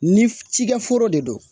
Ni cikɛ foro de don